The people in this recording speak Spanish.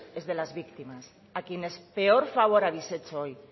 es de las víctimas a quienes peor favor habéis hecho hoy